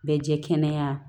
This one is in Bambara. Bɛ jɛ kɛnɛya